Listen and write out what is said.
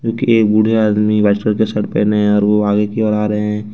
एक बूढ़ा आदमी व्हाइट कलर के शर्ट पहने हैं और वो आगे की ओर आ रहा है।